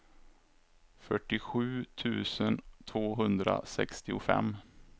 fyrtiosju tusen tvåhundrasextiofem